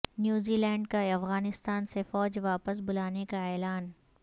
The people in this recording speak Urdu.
نیوزی لینڈ کا افغانستان سے فوج واپس بلانے کا اعلان